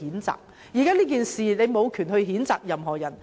就今次事件，他們無權譴責任何人。